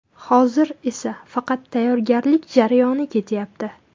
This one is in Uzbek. Hozir esa faqat tayyorgarlik jarayoni ketyapti.